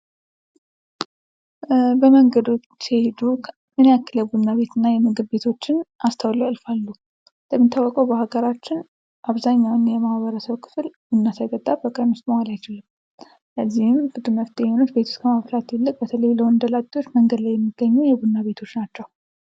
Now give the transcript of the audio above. በመንገዶች ሲሄዱ ምን ያክል የቡና ቤት እና የምግብ ቤቶችን አስተውለው ያልፋሉ? እንደሚታወቀው በአገራችን አብዛኛውን የማህበረሰብ ክፍል ቡና ሳይጠጣ በቀን ውስጥ መዋል አይችልም። ለዚህም መፍትሄ የሆኑት ቤት ውስጥ ከማፍላት ይልቅ በተለይ በተለይ ለወንደ ላጤዎች መንገድ ላይ የሚገኘው የቡና ቤቶች ናቸው።